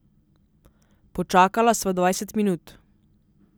Počakala sva dvajset minut.